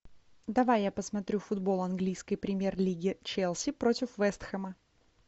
давай я посмотрю футбол английской премьер лиги челси против вест хэма